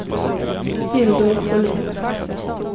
Hildur Sjölin